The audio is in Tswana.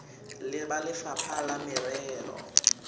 le ba lefapha la merero